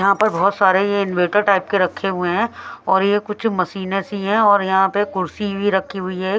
यहां पर बहुत सारे यह इन्वेटर टाइप के रखे हुए हैं और ये कुछ मशीनें सी हैं और यहां पर कुर्सी भी रखी हुई है ए--